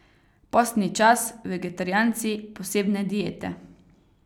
Postni čas, vegetarijanci, posebne diete.